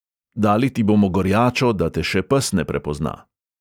Dali ti bomo gorjačo, da te še pes ne prepozna.